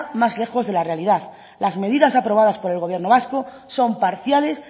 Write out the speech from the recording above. más lejos de la realidad las medidas aprobadas por el gobierno vasco son parciales